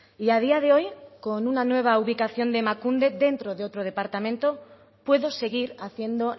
y a día de hoy con una nueva ubicación de emakunde dentro de otro departamento puedo seguir haciendo